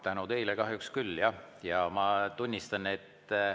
Tänu teile kahjuks küll, jah.